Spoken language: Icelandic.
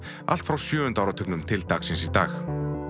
allt frá sjöunda áratugnum til dagsins í dag